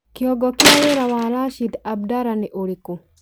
Kĩongo kia wĩra wa Rashid Abdala nĩ ũrĩkũ